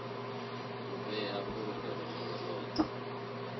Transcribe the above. u vhea fulufhelo ḽawe ḽoṱhe